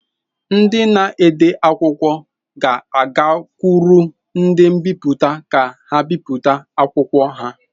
Ndị na-ede akwụkwọ ga-agakwuru ndị mbipụta ka ha bipụta akwụkwọ ha.